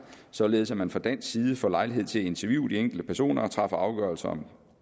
således at man fra dansk side får lejlighed til at interviewe de enkelte personer og træffe afgørelse om